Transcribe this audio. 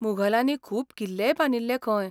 मुघलांनी खूब किल्लेय बांदिल्ले खंय.